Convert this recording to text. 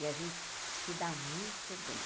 E a gente se dá muito bem.